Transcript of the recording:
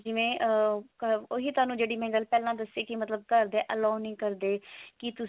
ਜਿਵੇਂ ah ਉਹੀ ਥੋਨੂ ਜਿਹੜੀ ਗੱਲ ਮੈਂ ਪਹਿਲਾਂ ਦੱਸੀ ਮਤਲਬ ਘਰ ਦੇ allow ਨੀ ਕਰਦੇ ਕੀ ਤੂੰ